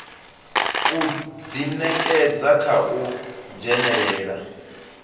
u ḓinekedza kha u dzhenelela